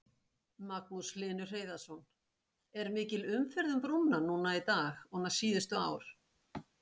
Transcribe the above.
Magnús Hlynur Hreiðarsson: Er mikil umferð um brúnna núna í dag og síðustu ár?